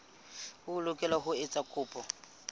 o lokela ho etsa kopo